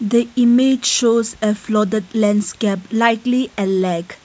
the image shows a flooded landscape likely a lake.